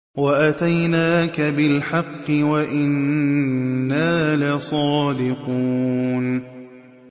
وَأَتَيْنَاكَ بِالْحَقِّ وَإِنَّا لَصَادِقُونَ